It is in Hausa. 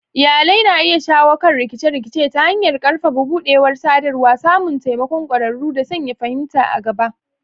Iyalai na iya shawo kan rikice-rikice ta hanyar ƙarfafa buɗewar sadarwa, samun taimakon ƙwararru, da sanya fahimta a gaba.